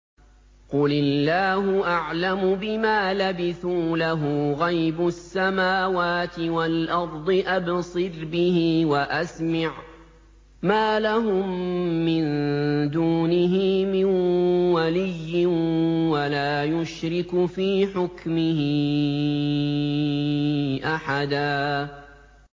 قُلِ اللَّهُ أَعْلَمُ بِمَا لَبِثُوا ۖ لَهُ غَيْبُ السَّمَاوَاتِ وَالْأَرْضِ ۖ أَبْصِرْ بِهِ وَأَسْمِعْ ۚ مَا لَهُم مِّن دُونِهِ مِن وَلِيٍّ وَلَا يُشْرِكُ فِي حُكْمِهِ أَحَدًا